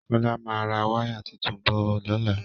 Kọ́lá máa ra wáyà tuntun bọ̀ lọ́la